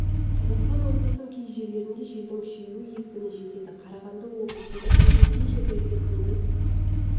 қазақстан облысының кей жерлерінде желдің күшеюі екпіні жетеді қарағанды облысында түнде кей жерлерде күндіз